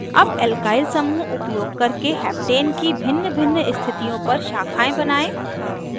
अब alkyl समूह उपयोग करके heptane की भिन्नभिन्न स्थितियों पर शाखाएं बनायें